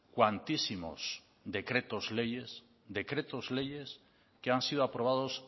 cuantísimos decretos leyes decretos leyes que han sido aprobados